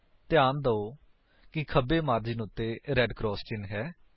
ਧਿਆਨ ਦਿਓ ਕਿ ਖੱਬੇ ਮਾਰਜਿਨ ਉੱਤੇ ਰੇਡ ਕਰਾਸ ਚਿੰਨ ਹੈ